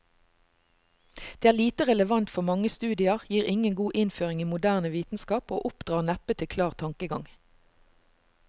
Det er lite relevant for mange studier, gir ingen god innføring i moderne vitenskap og oppdrar neppe til klar tankegang.